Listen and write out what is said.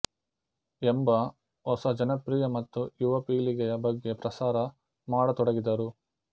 ಎಂಬ ಹೊಸ ಜನಪ್ರಿಯ ಮತ್ತು ಯುವ ಪೀಳಿಗೆಯ ಬಗ್ಗೆ ಪ್ರಸಾರ ಮಾಡತೊಡಗಿದರು